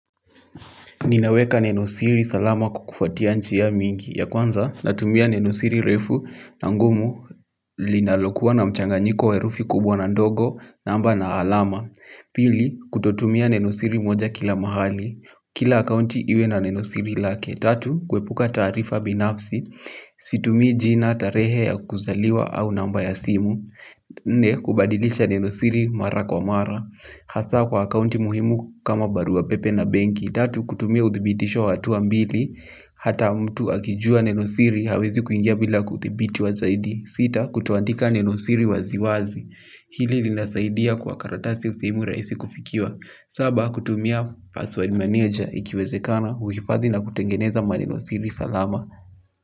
Ninaweka nenosiri salama kwa kufuatia njia mingi. Ya kwanza, natumia nenosiri refu na ngumu linalokuwa na mchanganyiko wa herufi kubwa na ndogo namba na alama. Pili, kutotumia nenosiri moja kila mahali. Kila akauti iwe na nenosiri lake. Tatu, kuepuka taarifa binafsi. Situmi jina tarehe ya kuzaliwa au namba ya simu. Na, kubadilisha nenosiri mara kwa mara. Hasaa kwa akauti muhimu kama barua pepe na benki. Tatu kutumia uthibitisho wa hatua mbili. Hata mtu akijua nenosiri hawezi kuingia bila kuthibiti wa zaidi. Sita kutoandika nenosiri waziwazi. Hili linasaidia kwa karatasi usimu rahisi kufikiwa. Saba kutumia password manager ikiwezekana. Huhifadhi na kutengeneza manenosiri. Salama.